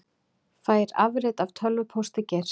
Fær afrit af tölvupósti Geirs